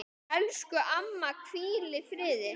Elsku amma, hvíl í friði.